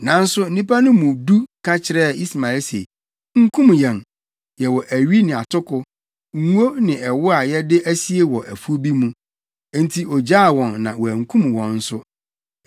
Nanso nnipa no mu du ka kyerɛɛ Ismael se, “Nkum yɛn! Yɛwɔ awi ne atoko, ngo ne ɛwo a yɛde asie wɔ afuw bi mu.” Enti ogyaa wɔn na wankum wɔn nso.